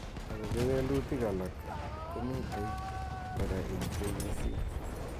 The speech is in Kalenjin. Ako kewelutik alak komitei kora ing KEC.